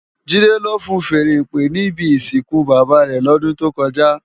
JIde ló fúùn fèèrè ìpè ni ibi isinkú bábá rè lòdùn tókòjá